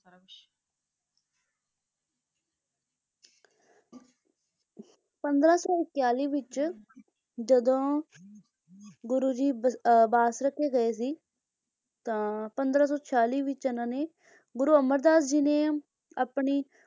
ਪੰਦਰਾਂ ਸੌ ਇਕੇਆਲੀ ਵਿੱਚ ਜਦੋਂ ਗੁਰੂ ਜੀ ਬ~ ਬਾਸਰਕੇ ਗਏ ਸੀ ਤਾਂ ਪੰਦਰਾਂ ਸੌ ਛਿਆਲੀ ਵਿੱਚ ਇਹਨਾਂ ਨੇ ਗੁਰੂ ਅਮਰਦਾਸ ਜੀ ਨੇ ਆਪਣੀ,